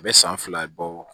A bɛ san fila bɔ